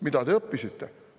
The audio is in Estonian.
Mida te õppisite?